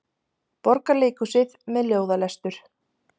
Borgarleikhúsið með ljóðalestur